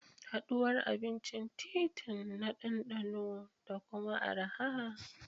Haɗuwar abincin titi na ɗanɗano da kuma araha.